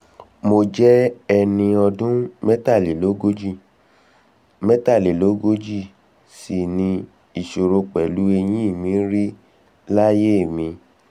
mo jẹ́ ẹni ọdún mẹ́tàlélógójì n mẹ́tàlélógójì n ò sìvní ìṣòro pẹ̀lú ẹ̀yìn mi rí láyé mi